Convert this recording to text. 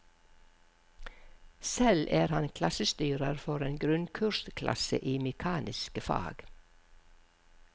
Selv er han klassestyrer for en grunnkursklasse i mekaniske fag.